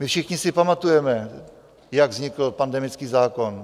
My všichni si pamatujeme, jak vznikl pandemický zákon.